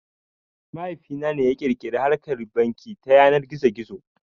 Mahaifi na ne ya ƙirƙiri harkar banki ta yanar gizo gizo